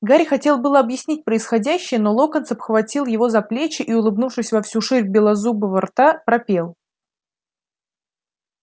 гарри хотел было объяснить происходящее но локонс обхватил его за плечи и улыбнувшись во всю ширь белозубого рта пропел